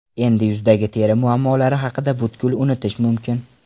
Endi yuzdagi teri muammolari haqida butkul unutish mumkin!